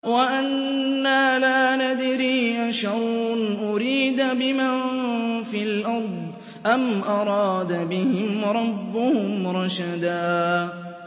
وَأَنَّا لَا نَدْرِي أَشَرٌّ أُرِيدَ بِمَن فِي الْأَرْضِ أَمْ أَرَادَ بِهِمْ رَبُّهُمْ رَشَدًا